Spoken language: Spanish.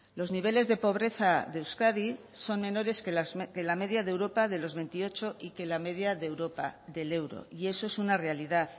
los niveles de pobreza de euskadi son menores que la media de europa de los veintiocho y que la media de europa del euro y eso es una realidad